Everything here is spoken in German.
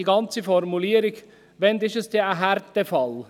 Auch die ganze Formulierung … Wann ist es denn ein Härtefall?